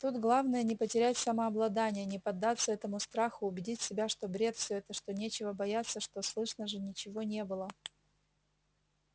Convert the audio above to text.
тут главное не потерять самообладания не поддаться этому страху убедить себя что бред это все что нечего бояться что слышно же ничего не было